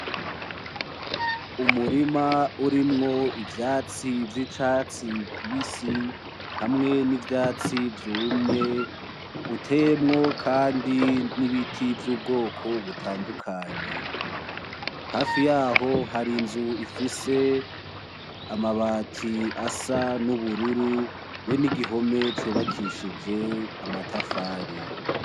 Umurima urimwo ivyatsi vy'icatsi kibisi hamwe n'ivyatsi vyumye, uteyemwo kandi ibiti vy'ubwoko butandukanye. Hafi yaho, hari inzu ifise amabati asa n'ubururu be n'igihome cubakishije amatafari.